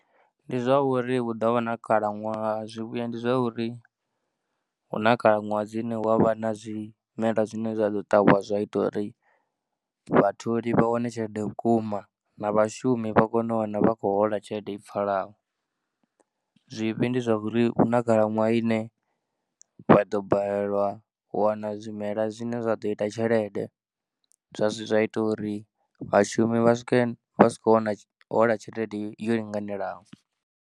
Ndi zwa uri hu ḓo vha na khalaṅwaha, zwivhuya ndi zwa uri hu na khalaṅwaha dzine hu a vha na zwimela zwine zwa ḓo ṱavhiwa zwa ita uri vhatholi vha wane tshelede vhukuma na vhashumi vha kone u wana vha khou hola tshelede i pfhalaho. Zwivhi ndi zwa uri hu na khalaṅwaha ine vha ḓo balelwa u wana zwimela zwine zwa ḓo ita tshelede zwa zwa ita uri vhashumi vha swike vha si kho wana hola tshelede yo linganelaho.